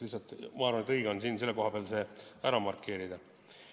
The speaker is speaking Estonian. Lihtsalt ma arvan, et õige on see siin selle koha peal ära markeerida.